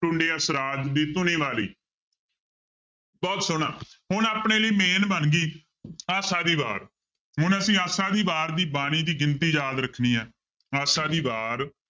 ਟੁੰਡੇ ਅਸਰਾਜ ਦੀ ਧੁਨੀ ਵਾਲੀ ਬਹੁਤ ਸੋਹਣਾ ਹੁਣ ਆਪਣੇ ਲਈ main ਬਣ ਗਈ ਆਸਾ ਦੀ ਵਾਰ ਹੁਣ ਅਸੀਂ ਆਸਾ ਦੀ ਵਾਰ ਦੀ ਬਾਣੀ ਦੀ ਗਿਣਤੀ ਯਾਦ ਰੱਖਣੀ ਹੈ ਆਸਾ ਦੀ ਵਾਰ